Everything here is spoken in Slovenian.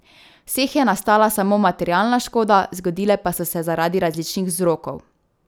V vseh je nastala samo materialna škoda, zgodile pa so se zaradi različnih vzrokov.